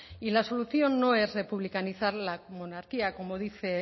y la solución no es republicanizar la monarquía como dice